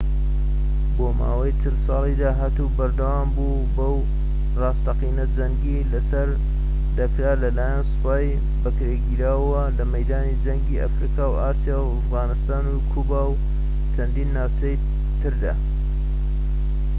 بۆ ماوەی ٤٠ ساڵی داهاتوو بەردەوامبوو وە بە راستەقینە جەنگی لەسەر دەکرا لەلایەن سوپای بەکرێگیراوەوە لە مەیدانی جەنگیی ئەفریقا و ئاسیا و ئەفغانستان و کوبا و چەندان ناوچەی تردا